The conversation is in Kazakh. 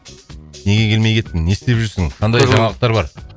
неге келмей кеттің не істеп жүрсің қандай жаңалықтар бар